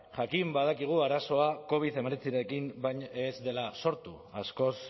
jakin badakigu arazoa covid hemeretzirekin ez dela sortu askoz